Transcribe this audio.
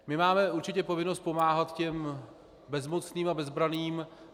My máme určitě povinnost pomáhat těm bezmocným a bezbranným.